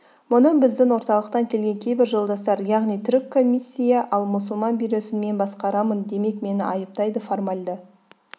мұны біздің орталықтан келген кейбір жолдастар яғни түрік комиссия ал мұсылман бюросын мен басқарамын демек мені айыптайды формальді